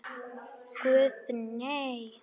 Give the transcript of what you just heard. Guðni:. nei.